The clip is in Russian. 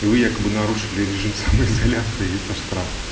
и вы якобы нарушили режим самоизоляции и это штраф